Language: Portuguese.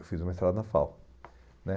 Eu fiz o mestrado na FAU né